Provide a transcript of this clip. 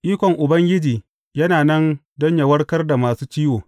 Ikon Ubangiji yana nan don yă warkar da masu ciwo.